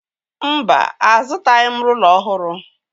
Mba, azụtaghị m rụla ọhụrụ